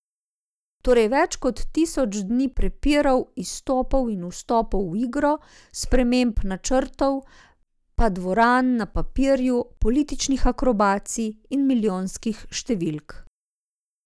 Torej več kot tisoč dni prepirov, izstopov in vstopov v igro, sprememb načrtov, pa dvoran na papirju, političnih akrobacij in milijonskih številk.